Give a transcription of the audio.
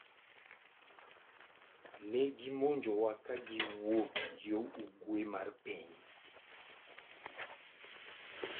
Ne gimonjowa ka giwuok yo ugwe mar piny.